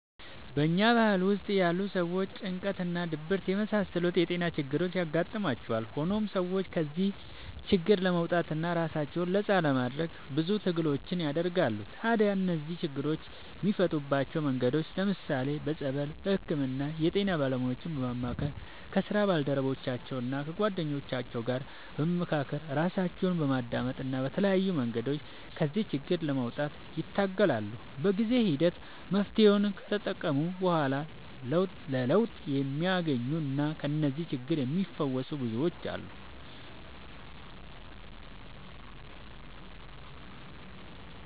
በኛ ባህል ውስጥ ያሉ ሰዎች ጭንቀት እና ድብርት የመሳሰሉት የጤና ችግሮች ያጋጥሟቸዋል። ሆኖም ሰዎቹ ከዚህ ችግር ለመውጣትና ራሳቸውን ነፃ ለማድረግ ብዙ ትግሎችን ያደርጋሉ። ታዲያ እነዚህን ችግሮች የሚፈቱባቸው መንገዶች ለምሳሌ፦ በፀበል፣ በህክምና፣ የጤና ባለሙያዎችን በማማከር፣ ከስራ ባልደረቦቻቸው እና ከጓደኞቻቸው ጋር በመካከር፣ ራሳቸውን በማዳመጥ እና በተለያዩ መንገዶች ከዚህ ችግር ለመውጣት ይታገላሉ። በጊዜ ሂደት መፍትሔውን ከተጠቀሙ በኋላ ለውጥ የሚያገኙና ከዚህ ችግር የሚፈወሱ ብዙዎች አሉ።